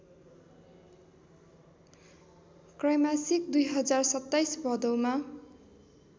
त्रैमासिक २०२७ भदौमा